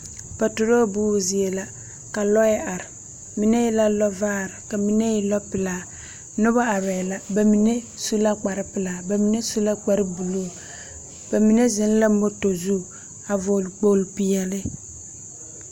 Patoroo buuo zie la. Ka lͻԑ are, mine e la lͻvaare ka mine e lͻpelaa. Noba arԑԑ la, ba mine su la la kpare pelaa, ba mine su la kpare buluu, ba mine zeŋ la moto zu a vͻgele kpooli peԑle.